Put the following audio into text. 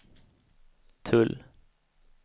tull